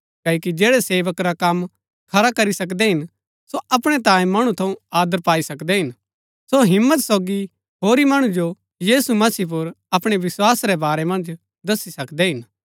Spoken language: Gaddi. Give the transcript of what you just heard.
क्ओकि जैड़ै सेवक रा कम खरा करी सकदै हिन सो अपणै तांये मणु थऊँ आदर पाई सकदै हिन सो हिम्मत सोगी होरी मणु जो यीशु मसीह पुर अपणै विस्वास रै बारै मन्ज दसी सकदै हिन